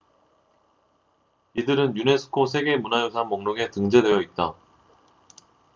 이들은 유네스코 세계 문화유산 목록에 등재되어 있다